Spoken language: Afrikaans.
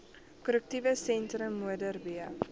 korrektiewe sentrum modderbee